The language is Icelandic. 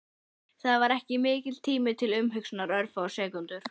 Það var ekki mikill tími til umhugsunar, örfáar sekúndur.